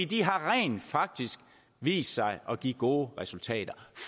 de har rent faktisk vist sig at give gode resultater